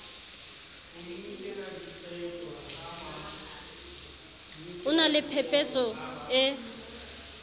o na le phepetso e